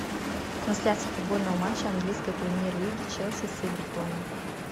трансляция футбольного матча английской премьер лиги челси с эвертоном